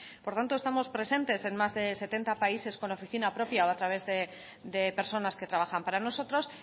por lo tanto estamos presentes en más de setenta países con oficina propia o a través de personas que trabajan para nosotros